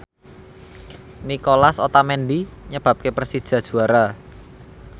Nicolas Otamendi nyebabke Persija juara